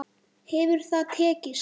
Hefur það tekist?